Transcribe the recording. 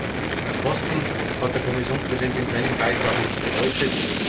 Die Energiekosten hat der Kommissionspräsident in seinem Beitrag beleuchtet.